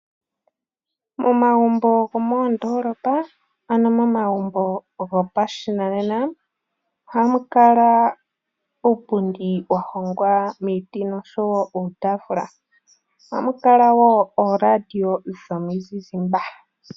Momagumbo gomoondolopa ano momagumbo gopashinanena oha mu kala uupundi wa hongwa miiti noshowo uutafula ohamu kala wo ooradio dhomizizimba.